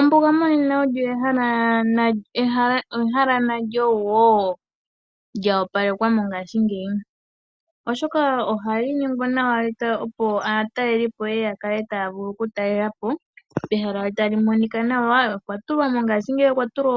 Ombuga monena olyo ehala nalyo wo lya opalekelwa mongashingeyo, oshoka ohali longekidhwa nawa opo aatalelipo yeye ya kale taya vulu okulitalelapo , pehala tapu monika nawa. Mongashingeyi opwa tulwa